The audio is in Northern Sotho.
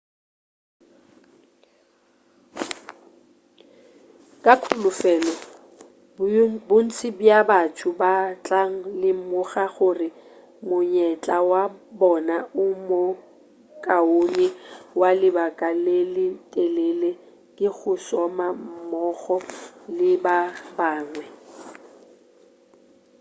ka kholofelo bontši bja batho ba tla lemoga gore monyetla wa bona o mo kaone wa lebaka le le telele ke go šoma mmogo le ba bangwe